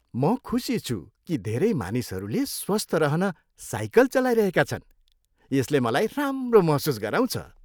म खुसी छु कि धेरै मानिसहरूले स्वस्थ रहन साइकल चलाइरहेका छन्। यसले मलाई राम्रो महसुस गराउँछ।